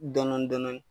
Dɔn dɔnni